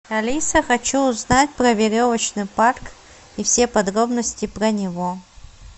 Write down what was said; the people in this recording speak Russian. алиса хочу узнать про веревочный парк и все подробности про него